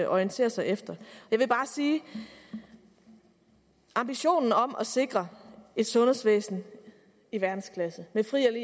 orientere sig efter jeg vil bare sige at ambitionen om at sikre et sundhedsvæsen i verdensklasse med fri og